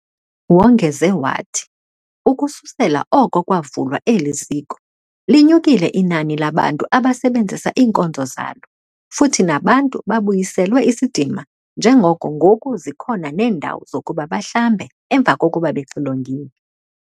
Wongeze wathi, ukususela oko kwavulwa eli ziko, linyukile inani labantu abasebenzisa iinkonzo zalo futhi nabantu babuyiselwe isidima njengoko ngoku zikhona neendawo zokuba bahlambe emva kokuba bexilongiwe.